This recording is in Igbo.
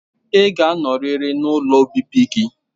Ị ga-anọrịrị n'ụlọ obibi gị